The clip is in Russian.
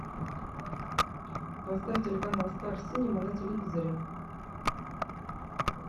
поставь телеканал стар синема на телевизоре